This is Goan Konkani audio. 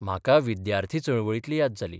म्हाका विद्यार्थी चळवळींतली याद जाली.